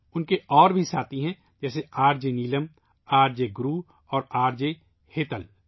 ان کے اور بھی ساتھی ہیں ، جیسے R J Neelam, R J Guru اور آر جے ہیتل